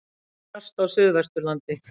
Hvasst á Suðvesturlandi